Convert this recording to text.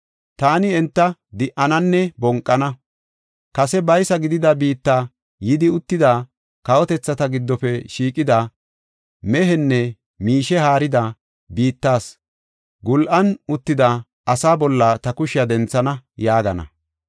Taani enta di77ananne bonqana; kase baysa gidida biitta yidi uttida, kawotethata giddofe shiiqida, mehenne miishe haarida, biittas gul7an uttida asaa bolla ta kushiya denthana’ yaagana.